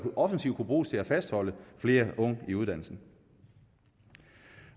offensivt kunne bruges til at fastholde flere unge i uddannelsen